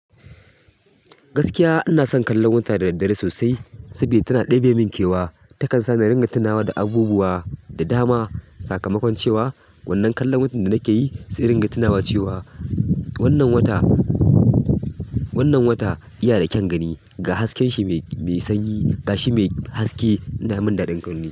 Gaskiya ina son kallon wata da daddare sosai saboda tana ɗebe min kewa. Takan sa ni ringa tunawa da abubuwa da dama. Sakamakon cewa wannan kallon watan da nake yi zai ringa tunawa cewa wannan wata, wannan wata iya da kyan gani ga hasken shi mai sanyi, ga shi mai haske ina min daɗin gani.